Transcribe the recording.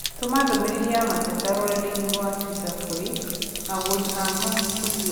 tũma ndũmīrīri ya mateta rũrenda-inī rũa tũita kũrĩ agũri a Mutua